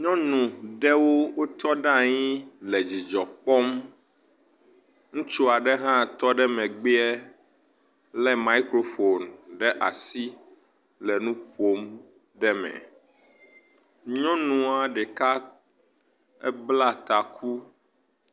Nyɔnu ɖewo wotɔ ɖe anyi le dzidzɔ kpɔm, ŋutsu aɖe hã tɔ ɖe megbeɛ le microphone ɖe asi le nuƒom ɖe me. Nyɔnua ɖeka ebla taku.